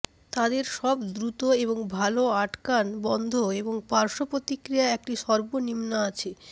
তাদের সব দ্রুত এবং ভাল আটকান বন্ধ এবং পার্শ্ব প্রতিক্রিয়া একটি সর্বনিম্ন আছে